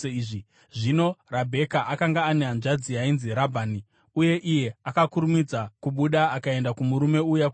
Zvino Rabheka akanga ane hanzvadzi yainzi Rabhani, uye iye akakurumidza kubuda akaenda kumurume uya kutsime.